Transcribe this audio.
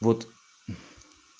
вот